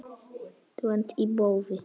Tvennt í boði.